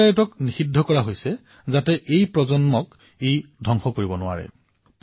ইচিগাৰেটক এই কাৰণেই বাধা প্ৰদান কৰা হৈছে যাতে নিচাৰ এই নতুন অভ্যাসে আমাৰ যুৱচামক ধ্বংস নকৰে